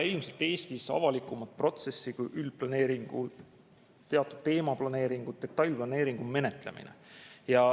Ilmselt Eestis ei ole avalikumat protsessi kui üldplaneeringud, teatud teemaplaneeringud, detailplaneeringud ja nende menetlemine.